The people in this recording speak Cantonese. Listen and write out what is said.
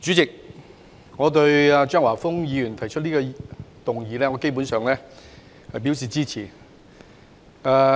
主席，對於張華峰議員提出的這項議案，我基本上表示支持。